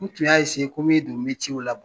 U tun y'a ko bɛ duguni ciw